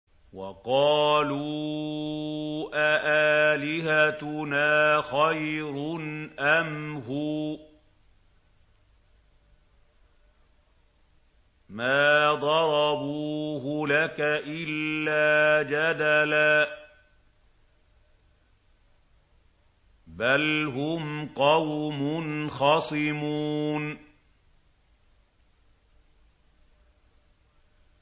وَقَالُوا أَآلِهَتُنَا خَيْرٌ أَمْ هُوَ ۚ مَا ضَرَبُوهُ لَكَ إِلَّا جَدَلًا ۚ بَلْ هُمْ قَوْمٌ خَصِمُونَ